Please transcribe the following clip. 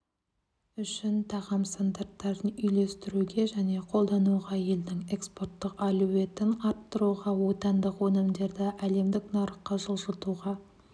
үшін тағам стандарттарын үйлестіруге және қолдануға елдің экспорттық әлеуетін арттыруға отандық өнімдерді әлемдік нарыққа жылжытуға